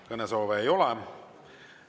Kõnesoove ei ole ja meie tänane istung on lõppenud.